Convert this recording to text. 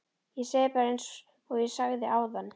Ég segi bara einsog ég sagði áðan